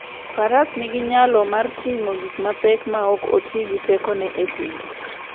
Faras nigi nyalo mar ting'o gik mapek maok oti gi tekone e thim.